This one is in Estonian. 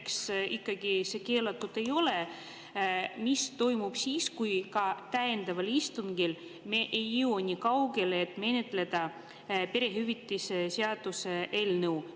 Kui see näiteks ikkagi keelatud ei ole, mis toimub siis, kui ka täiendaval istungil me ei jõua nii kaugele, et menetleda perehüvitiste seaduse eelnõu?